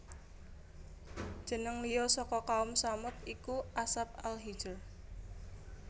Jeneng liya saka Kaum Tsamud iku Ashab Al Hijr